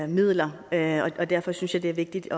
midler og derfor synes jeg det er vigtigt